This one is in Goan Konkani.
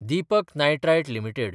Deepak nitrite limited